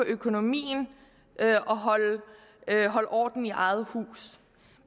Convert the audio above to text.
økonomien og holde orden i eget hus